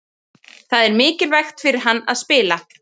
Það er mikilvægt fyrir hann að spila.